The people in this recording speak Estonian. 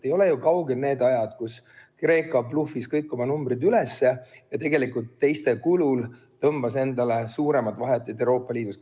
Ei ole ju kaugel need ajad, kui Kreeka bluffis kõik oma numbrid üles ja tegelikult teiste kulul tõmbas endale suuremaid vahendeid Euroopa Liidust.